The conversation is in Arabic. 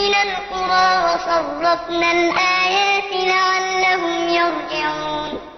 مِّنَ الْقُرَىٰ وَصَرَّفْنَا الْآيَاتِ لَعَلَّهُمْ يَرْجِعُونَ